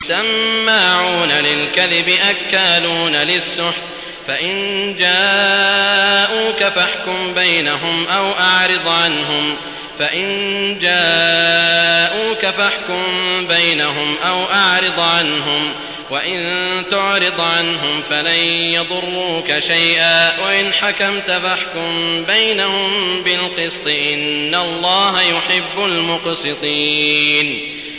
سَمَّاعُونَ لِلْكَذِبِ أَكَّالُونَ لِلسُّحْتِ ۚ فَإِن جَاءُوكَ فَاحْكُم بَيْنَهُمْ أَوْ أَعْرِضْ عَنْهُمْ ۖ وَإِن تُعْرِضْ عَنْهُمْ فَلَن يَضُرُّوكَ شَيْئًا ۖ وَإِنْ حَكَمْتَ فَاحْكُم بَيْنَهُم بِالْقِسْطِ ۚ إِنَّ اللَّهَ يُحِبُّ الْمُقْسِطِينَ